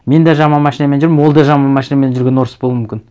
мен де жаман машинамен жүрмін ол да жаман машинамен жүрген орыс болуы мүмкін